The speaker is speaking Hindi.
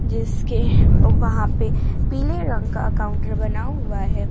इसके वहां पे पीले रंग का काउंटर बना हुआ है।